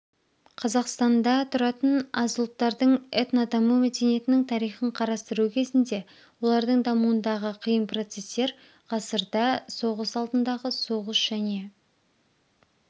қазақстанда тұратын аз ұлттардың этнодаму мәдениетінің тарихын қарастыру кезінде олардың дамуындағы қиын процестер ғасырда соғыс алдындағы соғыс және